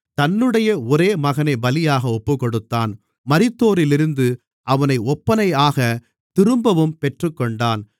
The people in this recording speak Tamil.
தன்னுடைய ஒரே மகனைப் பலியாக ஒப்புக்கொடுத்தான் மரித்தோரிலிருந்து அவனை ஒப்பனையாகத் திரும்பவும் பெற்றுக்கொண்டான்